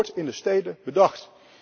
Het wordt in de steden bedacht.